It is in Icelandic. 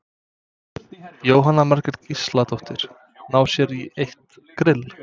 Jóhanna Margrét Gísladóttir: Ná sér í eitt grill?